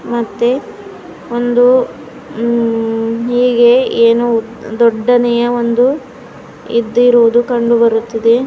ಮತ್ತೆ ಒಂದು ಹೀಗೆ ಏನು ದೊಡ್ಡನೆಯ ಒಂದು ಎದ್ದಿರುವುದು ಕಂಡುಬರುತ್ತಿದೆ.